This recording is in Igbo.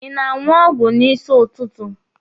Ị na-aṅụ ọgwụ n'isi ụtụtụ?